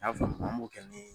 y'a faamu an m'o kɛ ni